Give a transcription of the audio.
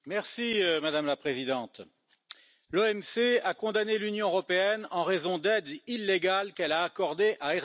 Madame la Présidente, l'OMC a condamné l'Union européenne en raison d'aides illégales qu'elle a accordées à Airbus.